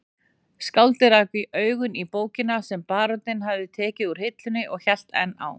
Skáldið rak augun í bókina sem baróninn hafði tekið úr hillunni og hélt enn á